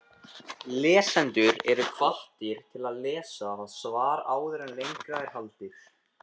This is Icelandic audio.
Lesendur eru hvattir til að lesa það svar áður en lengra er haldið.